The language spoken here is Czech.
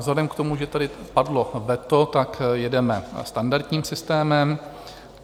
Vzhledem k tomu, že tady padlo veto, tak jedeme standardním systémem.